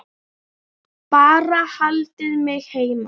Ólöf Eldjárn þýddi.